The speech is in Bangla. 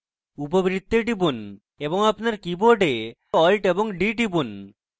উপবৃত্তে click করুন এবং clone তৈরী করতে alt + d টিপুন